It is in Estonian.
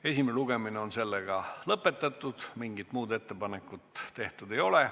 Esimene lugemine on lõppenud, mingit muud ettepanekut tehtud ei ole.